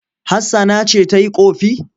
Hassana ce ta yi ƙofi.